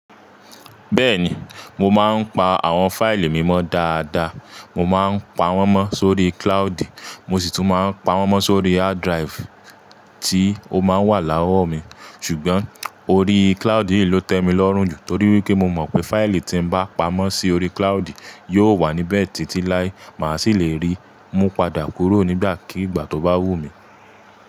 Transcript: Bẹ́ẹ̀ni, mo máa ń pa àwọn fáìlì mí mọ́ dáadáa. Mo máa ń pa wọ́n mọ́ sórí cloude, mo sì tún máa ń pa wọ́n mọ́ sórí hard drive tí ó máa ń wà láwọ̀ mi. Ṣùgbọ́n orí cloude yìí ló tẹ́ mi lọ́rùn jù torí wípé mo mọ̀ pé fáìlì tí n bá pa mọ́ sí orí cloude yóò wà níbẹ̀ títí láé, mà á sì lè rí i, mú padà kúrò nígbàkigbà tó bá wù mí.